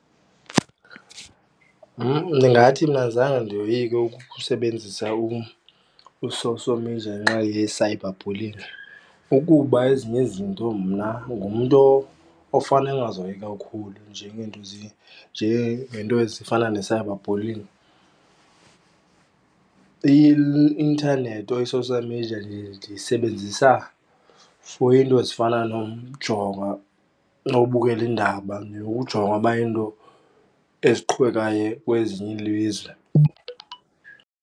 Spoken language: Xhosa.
Ndingathi mna zange ndiyoyike ukusebenzisa u-social media ngenxa ye-cyber bullying, ukuba ezinye izinto mna ngumntu ofane angazihoyi kakhulu. Njengeento ezifana ne-cyber bullying i-intanethi or i-social media ndiyisebenzisa for iinto ezifana nokujonga, nobukela iindaba, nokujonga uba iinto eziqhubekayo kwezinye ilizwe.